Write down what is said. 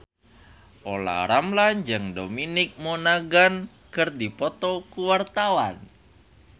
Olla Ramlan jeung Dominic Monaghan keur dipoto ku wartawan